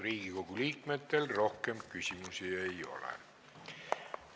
Riigikogu liikmetel rohkem küsimusi ei ole.